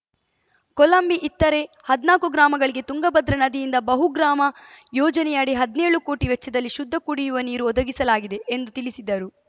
ಕೊಲಂಬಿ ಇತ್ತರೆ ಹದ್ನಾಕು ಗ್ರಾಮಗಳಿಗೆ ತುಂಗಭದ್ರಾ ನದಿಯಿಂದ ಬಹುಗ್ರಾಮ ಯೋಜನೆಯಡಿ ಹದ್ನೇಳು ಕೋಟಿ ವೆಚ್ಚದಲ್ಲಿ ಶುದ್ಧ ಕುಡಿಯುವ ನೀರು ಒದಗಿಸಲಾಗಿದೆ ಎಂದು ತಿಳಿಸಿದರು